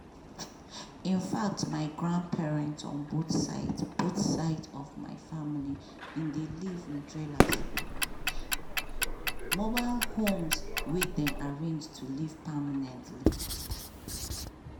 in fact my grandparents on both sides both sides of my family bin dey live in trailers (mobile homes wey dem arrange to live permanently).